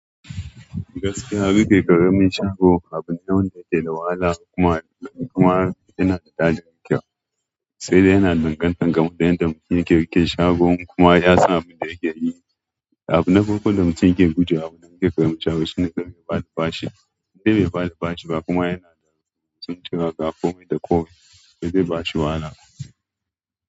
Gaskiya riƙe ƙaramin shago abu ne wanda ya ke da wahala kuma kuma yana da daɗin riƙewa, sai dai yana danganta ga yanda mutum yake rikicin shagon kuma ya san abunda yake yi. Abu na farko da mutum yake guje wa a wurin riƙe ƙaramin shago shine kar ya ba da bashi, inda bai ba da bashi ba kuma yana da sun turawa ga kome da ko me zai ba shi wahala.